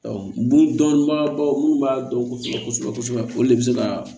bon dɔnbaga baw mun b'a dɔn kosɛbɛ kosɛbɛ olu de be se ka